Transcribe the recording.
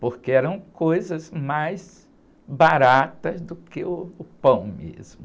Porque eram coisas mais baratas do que uh, o pão mesmo.